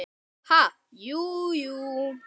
Ha, jú, jú